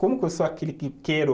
Como que eu sou aquele que quero